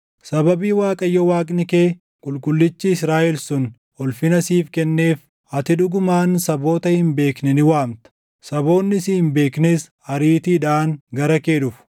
Sababii Waaqayyo Waaqni kee, Qulqullichi Israaʼel sun, ulfina siif kenneef, ati dhugumaan saboota hin beekne ni waamta; saboonni si hin beeknes ariitiidhaan gara kee dhufu.”